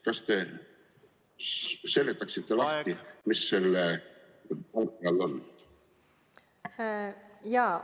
Kas te seletaksite lahti, mis selles punktis mõeldud on?